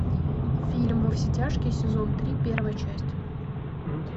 фильм во все тяжкие сезон три первая часть